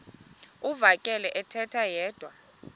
uvakele ethetha yedwa